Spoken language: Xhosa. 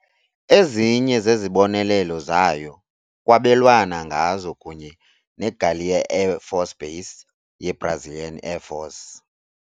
Ezinye zezibonelelo zayo kwabelwana ngazo kunye neGaleão Air Force Base yeBrazilian Air Force.